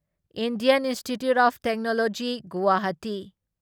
Indian Institute of Technology Guwahati